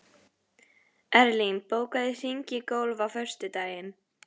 Erlín, bókaðu hring í golf á föstudaginn.